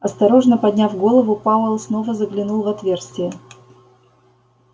осторожно подняв голову пауэлл снова заглянул в отверстие